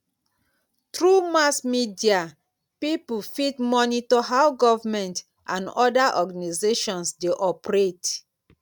through mass media pipo fit monitor how government and other organizations de operate